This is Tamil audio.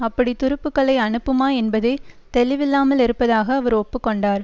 அப்படி துருப்புக்களை அனுப்புமா என்பதே தெளிவில்லாமல் இருப்பதாக அவர் ஒப்பு கொண்டார்